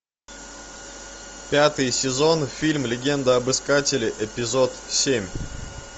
пятый сезон фильм легенда об искателе эпизод семь